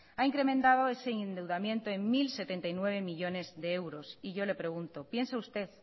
ha incrementado ese endeudamiento en mil setenta y nueve millónes de euros y yo le pregunto piensa usted